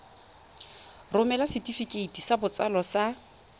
romela setefikeiti sa botsalo sa